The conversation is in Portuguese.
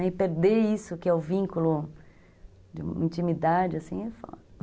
E perder isso, que é o vínculo de intimidade, assim, é foda.